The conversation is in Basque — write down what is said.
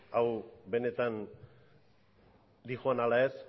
hau benetan doan ala ez